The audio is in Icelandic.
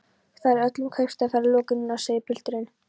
Það er öllum kaupstaðarferðum lokið núna, segir pilturinn.